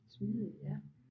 Smidig ja